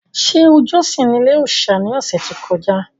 Ṣé o jọ́sìn ní ilé-òòsà ní ọ̀sẹ̀ tó kọjá?